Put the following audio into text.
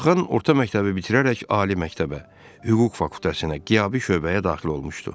Orxan orta məktəbi bitirərək ali məktəbə, hüquq fakültəsinə qiyabi şöbəyə daxil olmuşdu.